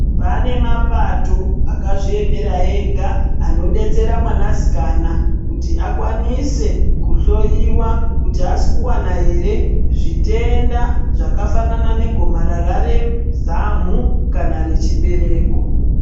Pane mapato akazviemera ega anodetsera mwanasikana kuti akwanise kuhloyiwa kuti aasi kuwana ere zvitenda zvakafanana negomarara rezamu kana rechibereko.